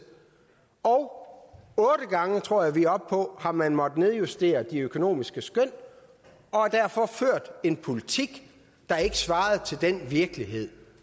og otte gange det tror jeg vi er oppe på har man måttet nedjustere de økonomiske skøn og har derfor ført en politik der ikke svarer til virkeligheden